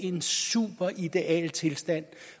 en super idealtilstand